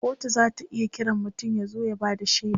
kotu zata iya Kiran mutum ya zo ya Bada shaida